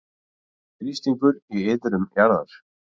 Þrýstingur í iðrum jarðar